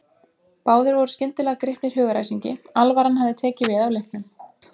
Báðir voru skyndilega gripnir hugaræsingi, alvaran hafði tekið við af leiknum.